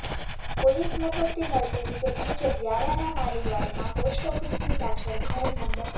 police મથકથી મળતી વિગત મુજબ વ્યારાના માલીવાડમાં પોસ્ટ ઓફિસની પાછળ ઘર નં